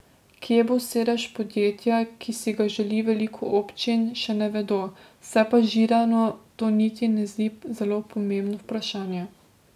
Kje bo sedež podjetja, ki si ga želi veliko občin, še ne vedo, se pa Židanu to niti ne zdi zelo pomembno vprašanje.